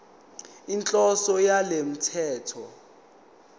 inhloso yalo mthetho